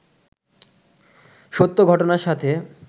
সত্য ঘটনার সাথে